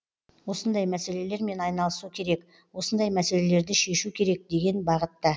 осындай мәселелермен айналысу керек осындай мәселелерді шешу керек деген бағытта